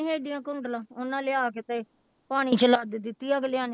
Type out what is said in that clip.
ਹੈਗੀਆਂ ਕੁੰਡਲਾਂ ਉਹਨਾਂ ਲਿਆ ਕੇ ਤੇ ਪਾਣੀ ਚ ਲੱਦ ਦਿੱਤੀ ਅਗਲਿਆਂ ਨੇ